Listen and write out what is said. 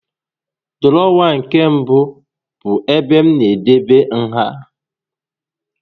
Dụrọwa nke mbụ bụ ebe m na-edebe nha